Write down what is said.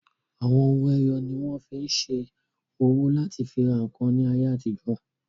Àwọn owó ẹyọ ni wọ́n fí n ṣe owó láti fi ra ǹkan ní ayé àtijọ́